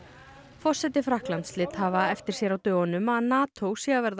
forseti Frakklands lét hafa eftir sér á dögunum að NATO sé að verða